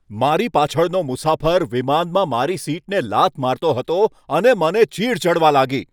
મારી પાછળનો મુસાફર વિમાનમાં મારી સીટને લાત મારતો રહ્યો અને તે મને ચીઢ ચડવા લાગી.